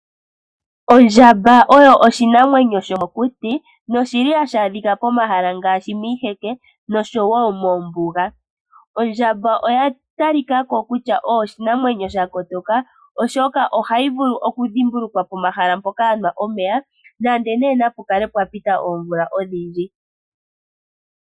Ondjamba oyo oshinamwenyo shomokuti nohashi adhika pomahala ngaashi miiheke nosho wo mombuga. Ondjamba oya talika ko kutya oyo oshinamwenyo sha kotoka, oshoka ohayi vulu okudhimbulukwa pomahala mpoka ya nwa omeya nenge nduno napu kale pwa pita oomvula odhindji.